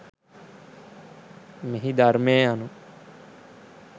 මෙහි ධර්මය යනු